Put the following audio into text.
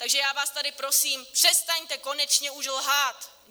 Takže já vás tady prosím, přestaňte konečně už lhát.